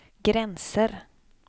gränser